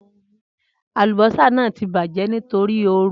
Alubosa naa ti bajẹ nitori ooru